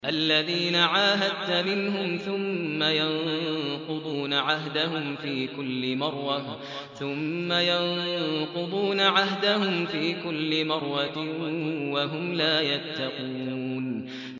الَّذِينَ عَاهَدتَّ مِنْهُمْ ثُمَّ يَنقُضُونَ عَهْدَهُمْ فِي كُلِّ مَرَّةٍ وَهُمْ لَا يَتَّقُونَ